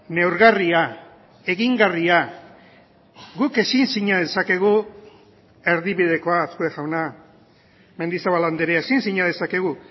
neurgarria egingarria guk ezin sina dezakegu erdibidekoa azkue jauna mendizabal andrea ezin sina dezakegu